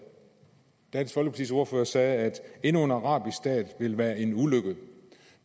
dansk folkepartis ordfører sagde at endnu en arabisk stat ville være en ulykke